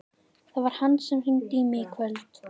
Það var hann sem hringdi í mig í kvöld.